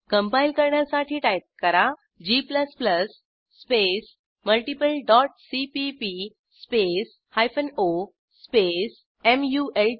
compile करण्यासाठी type करा g space multiple dot CPP space hyphen O space malt